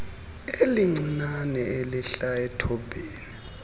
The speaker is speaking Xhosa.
elincinane elihla ethobhini